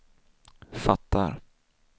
fattar